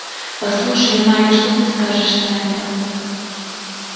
послушай майк что ты скажешь на это